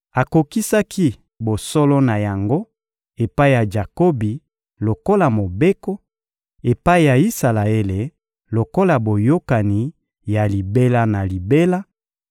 Akokisaki bosolo na yango epai ya Jakobi lokola mobeko, epai ya Isalaele lokola boyokani ya libela na libela